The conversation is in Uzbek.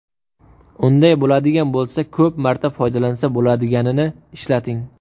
Unday bo‘ladigan bo‘lsa, ko‘p marta foydalansa bo‘ladiganini ishlating.